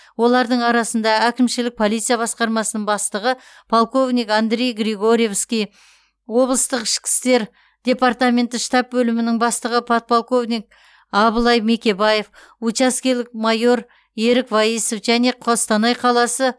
олардың арасында әкімшілік полиция басқармасының бастығы полковник андрей григоревский облыстық ішкі істер департаменті штаб бөлімінің бастығы подполковник абылай мекебаев учаскелік майор ерік ваисов және қостанай қаласы